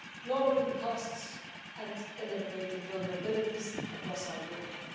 lowering costs and eliminating vulnerabilities across our Union.